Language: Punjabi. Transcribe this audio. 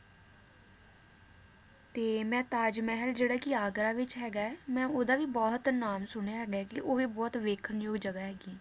ਤੇ ਮੈ ਤਾਜ ਮਹਿਲ ਜਿਹੜਾ ਕਿ ਆਗਰਾ ਵਿਚ ਹੈਗਾ ਏ, ਮੈ ਓਹਦਾ ਵੀ ਬਹੁਤ ਨਾਮ ਸੁਣਿਆ ਹੈਗਾ ਏ, ਕਿ ਉਹ ਵੀ ਬਹੁਤ ਵੇਖਣ ਯੋਗ ਜਗਾਹ ਹੈਗੀ ਹੈ,